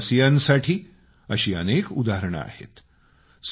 आपल्या देशवासियांसाठी अशी अनेक उदाहरणे आहेत